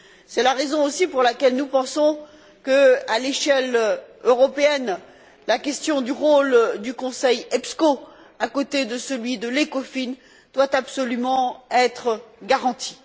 C'est la raison aussi pour laquelle nous pensons que, à l'échelle européenne, la question du rôle du Conseil EPSCO, à côté de celui de l'Ecofin, doit absolument être garantie.